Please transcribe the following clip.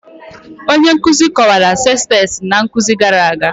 Onye nkuzi kọwara sestet na nkuzi gara aga